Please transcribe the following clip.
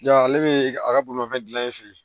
Ja ale bɛ a ka bolimafɛn dilan i fɛ yen